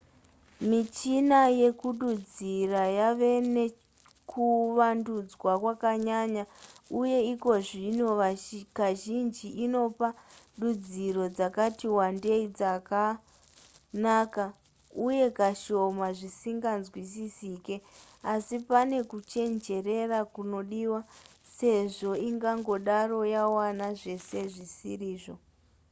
michina yekududzira yave nekuvandudzwa kwakanyanya uye ikozvino kazhinji inopa dudziro dzakati wandei dzakanaka uye kashoma zvisinganzwisisike asi pane kuchenjerera kunodiwa sezvo ingangodaro yawana zvese zvisiri izvo